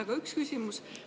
Mul on üks küsimus.